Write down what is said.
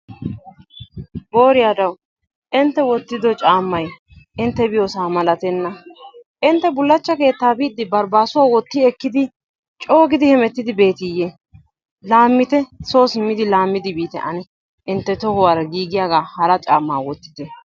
Booriyadawu intte wottido caammay intte biyoosa malatenna! Intte bulachcha keettaa biidi barbaasuwa wotti ekkidi coo gidi hemetti ekkidi beetiiyee. Laamitte soo simidi laamidi biitte ane. Intte tohuwaara giigiyagaa hara caammaa wottite.